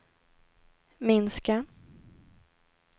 minska